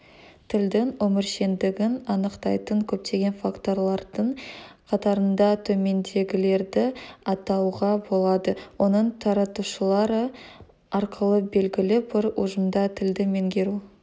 тілдің өміршеңдігін анықтайтын көптеген факторлардың қатарында төмендегілерді атауға болады оның таратушылары арқылы белгілі бір ұжымда тілді меңгеру